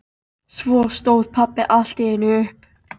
Svo stóð pabbi allt í einu upp.